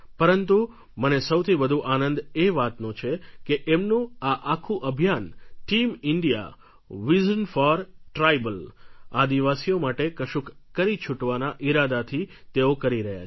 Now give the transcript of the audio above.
પરંતુ મને સૌથી વધુ આનંદ એ વાતનો છે કે એમનું આ આખું અભિયાન team India vision for tribal આદિવાસીઓ માટે કશુંક કરી છૂટવાના ઇરાદાથી તેઓ કરી રહ્યા છે